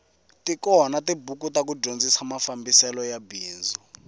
tikona tibuku ta ku dyondzisa mafambiselo ya bindzu